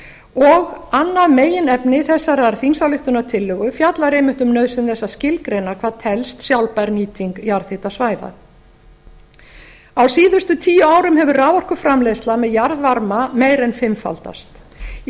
og annað meginefni þessarar þingsályktunartillögu fjallar einmitt um nauðsyn þess að skilgreina hvað telst sjálfbær nýting jarðhitasvæða á síðustu tíu árum hefur raforkuframleiðsla með jarðvarma meir en fimmfaldast í